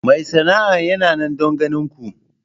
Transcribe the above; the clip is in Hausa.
Mai sana'a yana nan don ganin ku.